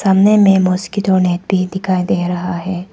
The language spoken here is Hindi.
सामने में मॉस्किटो नेट भी दिखाई दे रहा है।